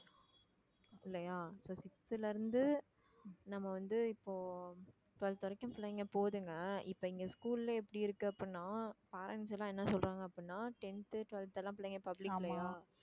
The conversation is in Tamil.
இல்லையா so sixth ல இருந்து நம்ம வந்து இப்போ twelfth வரைக்கும் பிள்ளைங்க போகுதுங்க இப்ப இங்க school ல எப்படி இருக்கு அப்படின்னா parents எல்லாம் என்ன சொல்றாங்க அப்படின்னா tenth, twelfth எல்லாம் பிள்ளைங்க public இல்லையா